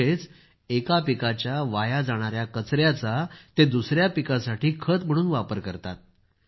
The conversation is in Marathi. म्हणजेच एका पिकाच्या वाया जाणाया कचयाचा ते दुसया पिकासाठी खत म्हणून वापर करतात